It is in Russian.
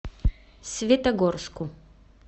светогорску